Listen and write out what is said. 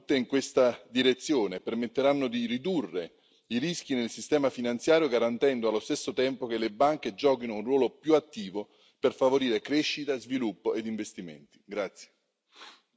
Le nuove norme vanno tutte in questa direzione, permetteranno di ridurre i rischi nel sistema finanziario, garantendo allo stesso tempo che le banche giochino un ruolo più attivo per favorire crescita, sviluppo ed investimenti.